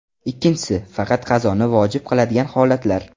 Ikkinchisi – faqat qazoni vojib qiladigan holatlar.